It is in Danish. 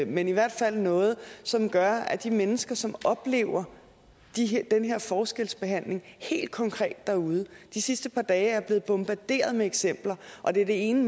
men i hvert fald noget som gør at de mennesker som oplever den her forskelsbehandling helt konkret derude de sidste par dage er jeg blevet bombarderet med eksempler og det er det ene